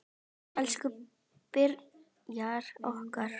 Elsku Brynjar okkar.